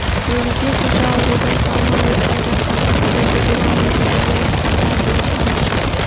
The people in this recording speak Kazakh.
өгіздей құлжа аурудан сау ма өз қайдан қаңғып келді бұл абай үндемей арқарды айнала қарап шығып